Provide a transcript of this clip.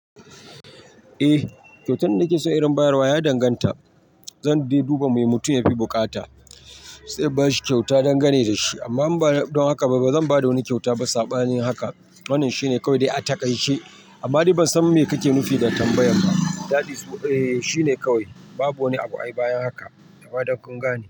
Eh kyautan nake son in bayarwa ya danganta, zan je duba me mutum yafi bukata sai bashi kyauta dangane da shi amma ba don haka ba zan bada wani kyauta ba sabanin haka. Wannan shine kawai da aka gaishe amma ni ban san me kake nufi da tambayan ba. Dadi shi ne kawai babu wani abu a bayan haka. Kawai don kun gane.